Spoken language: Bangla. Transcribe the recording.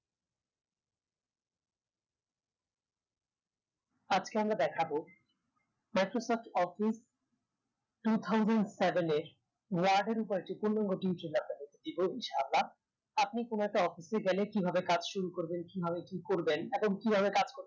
আজকে আমরা দেখাবো microsoft office two thousand seven এর word উপড় যে পূর্ণাঙ্গ video টি আপনাদেরকে দিবো ইনশাআল্লাহ আপনি কোনো একটা office এ গেলে কিভাবে কাজ শুরু করবেন কিভাবে কি করবেন এবং কিভাবে কাজ করতে